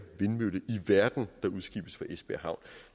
vindmølle i verden der udskibes fra esbjerg havn